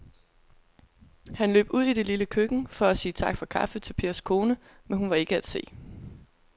Han løb ud i det lille køkken for at sige tak for kaffe til Pers kone, men hun var ikke til at se.